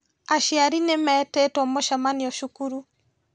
Aciari nĩmetĩtwo mũcemanio cukuru